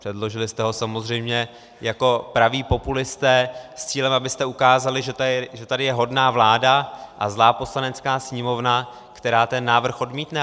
Předložili jste ho samozřejmě jako praví populisté s cílem, abyste ukázali, že tady je hodná vláda a zlá Poslanecká sněmovna, která ten návrh odmítne.